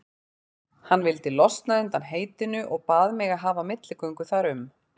Hann vildi losna undan heitinu og bað mig að hafa milligöngu þar um.